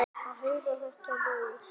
Að heyra þetta raul.